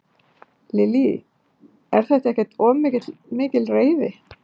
Lillý: Er þetta ekkert of mikil reiði?